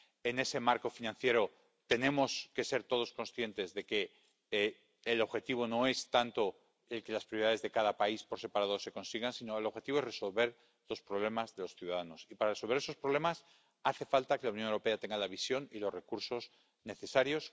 En ese marco financiero tenemos que ser todos conscientes de que el objetivo no es tanto que las prioridades de cada país por separado se consigan, sino resolver los problemas de los ciudadanos. Y, para resolver esos problemas, hace falta que la Unión Europea tenga la visión y los recursos necesarios.